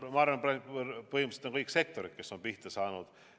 Ma arvan, et põhimõtteliselt on kõik sektorid pihta saanud.